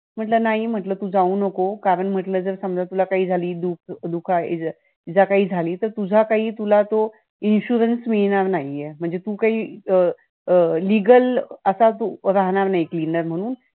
म्हटलं नाही म्हटलं तू जाऊ नको कारण समजा जर तुला काही झालं, धोका इजा इजा काही झाली, तुझा काही तुला तो insurance मिळणार नाहीये म्हणजे तो काही तू अं legal असं काही राहणार नाही तू cleaner म्हणून